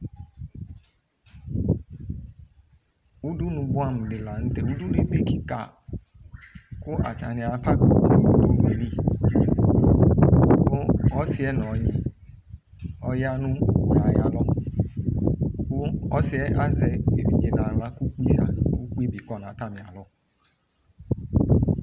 Udu boamu de lantɛ Udunue ebe kika ko atane a pak owu no udunue li, ko ɔsiɛ no ɔnyi ɔya no owue ayalɔ, ko ɔsiɛ azɛ evidze no ahla ko kpi za, ko ukpi be kɔ no atane alɔ